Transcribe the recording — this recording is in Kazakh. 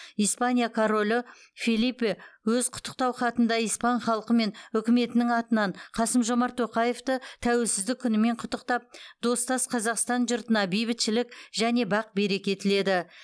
испания королі фелипе өз құттықтау хатында испан халқы мен үкіметінің атынан қасым жомарт тоқаевты тәуелсіздік күнімен құттықтап достас қазақстан жұртына бейбітшілік және бақ береке тіледі